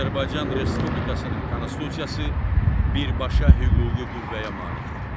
Azərbaycan Respublikasının Konstitusiyası birbaşa hüquqi qüvvəyə malikdir.